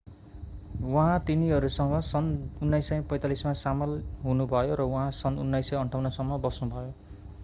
उहाँ तिनीहरूसँग सन् 1945 मा सामेल हुनुभयो र उहाँ सन् 1958 सम्म बस्नुभयो